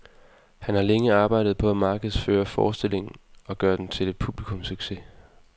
Han har længe arbejdet på at markedsføre forestillingen og gøre den til en publikumssucces.